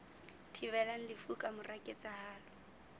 thibelang lefu ka mora ketsahalo